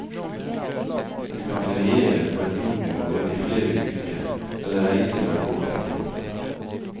Du kan feriere på en bondegård i flere uker, eller reise fra gård til gård.